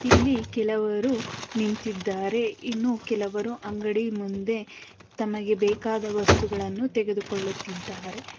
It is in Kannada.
ಇಲ್ಲಿ ಕೆಲವರು ನಿಂತಿದ್ದಾರೆ ಇನ್ನು ಕೆಲವರು ಅಂಗಡಿಯ ಮುಂದೆ ತಮಗೆ ಬೇಕಾದ ವಸ್ತುಗಳನ್ನು ತೆಗೆದುಕೊಳ್ಳುತ್ತಿದ್ದಾರೆ.